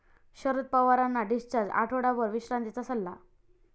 शरद पवारांना डिस्चार्ज, आठवडाभर विश्रांतीचा सल्ला